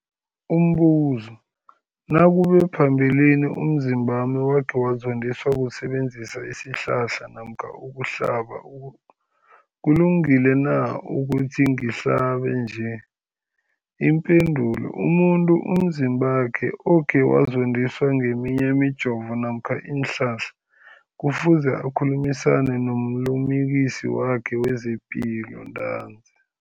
Umbuzo, nakube phambilini umzimbami wakhe wazondiswa kusebenzisa isihlahla namkha ukuhlaba, kulungile na ukuthi ngihlabe nje? Ipendulo, umuntu umzimbakhe okhe wazondiswa ngeminye imijovo namkha iinhlahla kufuze akhulumisane nomlimukisi wakhe wezepilo ntanzi.